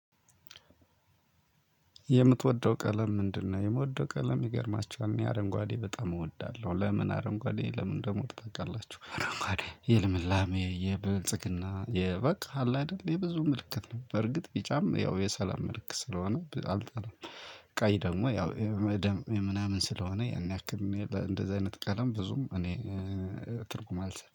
የምትወደው ቀለም ምንድነው? የምወደው ቀለም ይገርማችኋል አረንጓዴ በጣም እወዳለሁ። ለምን አረንጓዴ ለምን እንደምወድ ታውቃላችሁ? አረንጓዴ የልምላሜ የብልጽግና በቃ አለ አይደል የብዙ ምልክት ነው በርግጥ ቢጫም ያው የሰላም ምልክት ስለሆነ አልጠላም። ቀይ ደግሞ ያው የደም የምናምን ስለሆነ ያን ያክል እንደዚህ አይነት ቀለም ብዙም እኔ ትርጉም አልሰጠዉም